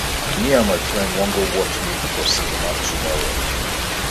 me and my friend wan go watch movie for cinema tomorrow